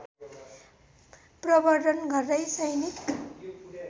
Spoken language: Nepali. प्रवर्द्धन गर्दै सैनिक